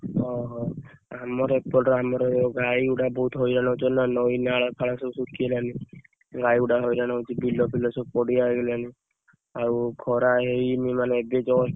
ଓହୋ! ଆମର ଏପଟ ଆମର ଗାଈ ଗୁଡାକ ବହୁତ ହଇରାଣ ହଉଛନ୍ତି ନା ନଇ ନାଳ ଫାଳ ସବୁ ଶୁଖି ଗଲାଣି ଗାଈ ଗୁଡାକ ହଇରାଣ ହଉଛନ୍ତି ବିଲ ଫିଲ ସବୁ ପଡିଆ ହେଇଗଲାଣି ଆଉ ଖରା ଏଇ ମାନେ ଏବେ lang: Foreign just। lang: Foreign